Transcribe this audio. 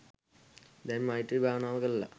දැන් මෛත්‍රී භාවනාව කරලා